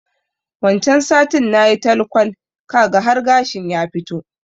Wancan satin nayi talkwal, kaga har gashin ya fito.